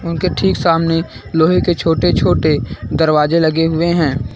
उनके ठीक सामने लोहे के छोटे छोटे दरवाजे लगे हुए हैं।